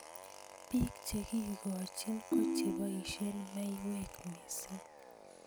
Bik chekikojin kocheboishe maiywek missing.